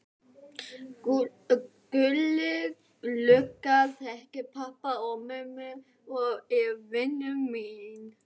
Gulli lögga þekkir pabba og mömmu og er vinur minn.